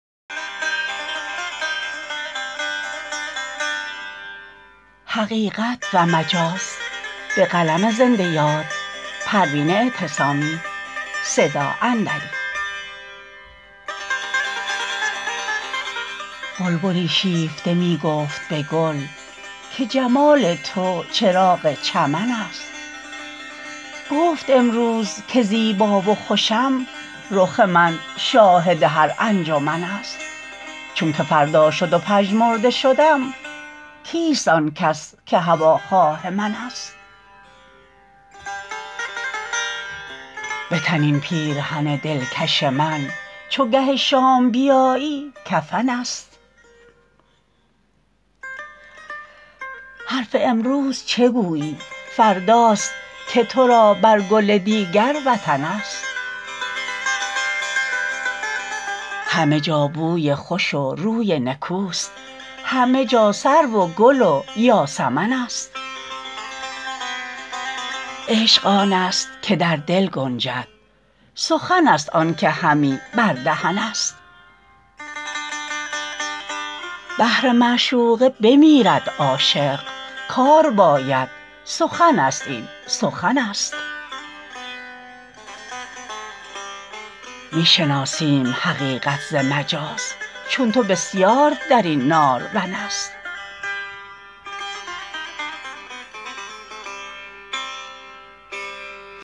بلبلی شیفته میگفت به گل که جمال تو چراغ چمن است گفت امروز که زیبا و خوشم رخ من شاهد هر انجمن است چونکه فردا شد و پژمرده شدم کیست آنکس که هواخواه من است بتن این پیرهن دلکش من چو گه شام بیایی کفن است حرف امروز چه گویی فرداست که تو را بر گل دیگر وطن است همه جا بوی خوش و روی نکوست همه جا سرو و گل و یاسمن است عشق آنست که در دل گنجد سخن است آنکه همی بر دهن است بهر معشوقه بمیرد عاشق کار باید سخن است این سخن است میشناسیم حقیقت ز مجاز چون تو بسیار درین نارون است